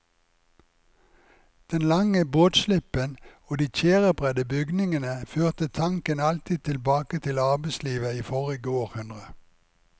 Den lange båtslippen og de tjærebredde bygningene førte tanken alltid tilbake til arbeidslivet i forrige århundre.